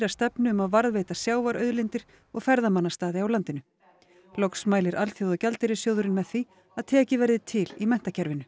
stefnu um að varðveita sjávarauðlindir og ferðamannastaði á landinu loks mælir Alþjóðagjaldeyrissjóðurinn með því að tekið verði til í menntakerfinu